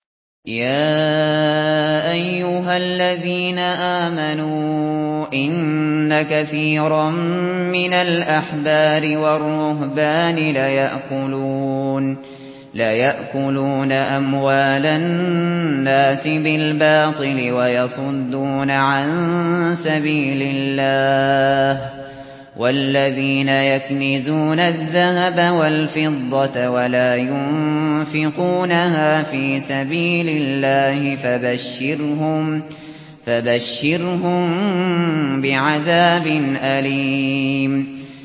۞ يَا أَيُّهَا الَّذِينَ آمَنُوا إِنَّ كَثِيرًا مِّنَ الْأَحْبَارِ وَالرُّهْبَانِ لَيَأْكُلُونَ أَمْوَالَ النَّاسِ بِالْبَاطِلِ وَيَصُدُّونَ عَن سَبِيلِ اللَّهِ ۗ وَالَّذِينَ يَكْنِزُونَ الذَّهَبَ وَالْفِضَّةَ وَلَا يُنفِقُونَهَا فِي سَبِيلِ اللَّهِ فَبَشِّرْهُم بِعَذَابٍ أَلِيمٍ